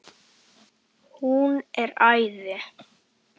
Hún er æði.